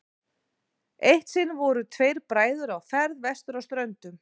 eitt sinn voru tveir bræður á ferð vestur á ströndum